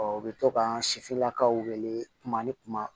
u bɛ to k'an si lakaw wele kuma ni kuma